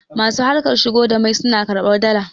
masu harkar shigo da mai suna karbar Dala